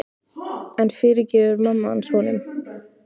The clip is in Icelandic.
En fyrirgefur mamma hans honum?